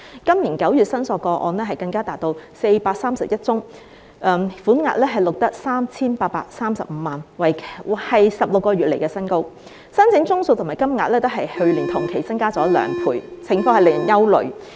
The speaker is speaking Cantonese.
今年9月的申索個案更達431宗，款額錄得 3,835 萬元，是16個月以來新高，申請宗數和金額均較去年同期增加兩倍，情況令人憂慮。